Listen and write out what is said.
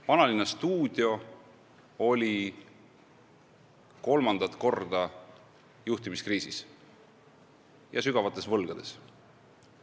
Vanalinnastuudio oli kolmandat korda juhtimiskriisis ja sügavalt võlgades.